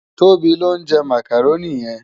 Tobi ló njè mákáróni yèn